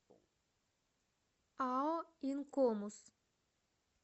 ао инкомус